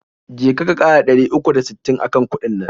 Je ka, ka ƙara dari uku da sittin akan kuɗin nan.